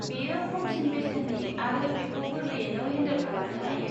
बेयो खमसिन बेसेननि आरो बेखौ गोरलैयैनो हेन्डेल खालामनो हायो।